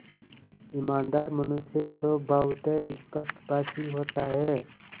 ईमानदार मनुष्य स्वभावतः स्पष्टभाषी होता है